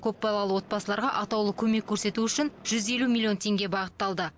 көпбалалы отбасыларға атаулы көмек көрсету үшін жүз елу миллион теңге бағытталды